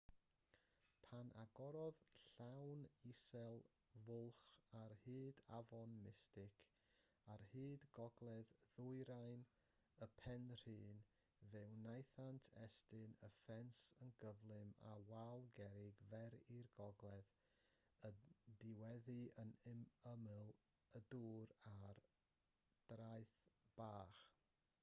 pan agorodd llanw isel fwlch ar hyd afon mystic ar hyd gogledd-ddwyrain y penrhyn fe wnaethant estyn y ffens yn gyflym â wal gerrig fer i'r gogledd yn diweddu ar ymyl y dŵr ar draeth bach